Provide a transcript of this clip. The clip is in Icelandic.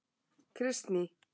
Kristný